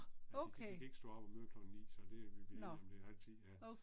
Fordi de kan ikke stå op og møde klokken 9 så det vi blevet enige om det er halv 10 ja